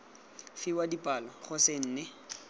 fiwa dipalo go se nne